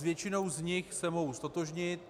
S většinou z nich se mohu ztotožnit.